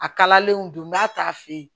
A kalalenw don n k'a t'a fɛ yen